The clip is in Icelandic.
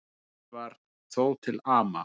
Eitt var þó til ama.